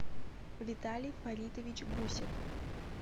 виталий фаритович гусев